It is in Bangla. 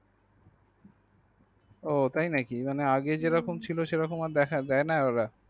ও তাই নাকি মানে আগে যে রকম ছিল সেই রকম আর দেখা যায় না ।